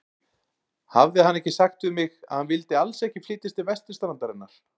Hafði hann ekki sagt við mig, að hann vildi alls ekki flytjast til vesturstrandarinnar?